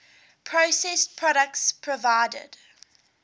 processed products provided